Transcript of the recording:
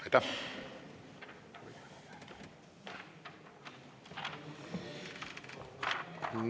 Aitäh!